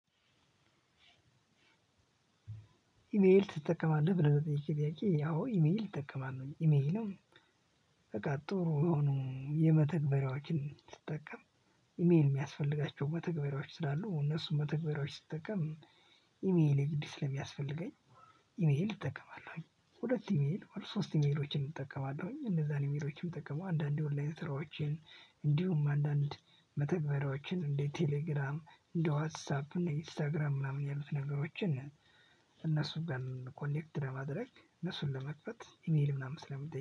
ኢሜል ትጠቀማለህ ብለህ ለጠየቅከኝ ጥያቄ አዎ ኢሜል እጠቀማለሁ ኢሜለይንም በቃ ጥሩ የሆኑ የመተግበሪያዎችን ስጠቀም ኢሜል የሚያስፈልጋቸው መተግበሪያዎች ስላሉ እነሱን መተግበሪያዎች ስትጠቀም። ኢሜል የግድ ስለሚያስፈልገኝ ኢሜል እጠቀማለሁኝ። ሁለት ኢሜል ሶስት ኢሜሎችን እጠቀማለሁኝ እነዛን ኢሜሎችን ተጠቀሙ አንዳንዴ ኦንላይን ስራዎችን። እንዲሁም አንዳንድ መተግበሪያዎችን እንደ ቴሌግራም እንደ ዋትሳፕ እና ኢንስታግራም ምናምን ያሉት ነገሮችን። እነሱን ኮኔክት ለማድረግ እነሱን ለመክፈት ኢሜል ምናምን ስለሚጠይቅ